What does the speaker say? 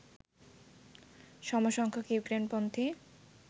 সমসংখ্যক ইউক্রেইনপন্থী